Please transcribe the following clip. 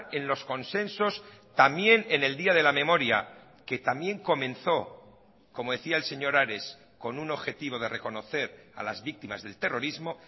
en los consensos también en el día de la memoria que también comenzó como decía el señor ares con un objetivo de reconocer a las víctimas del terrorismo